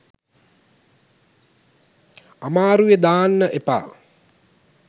අමාරුවෙ දාන්න එපා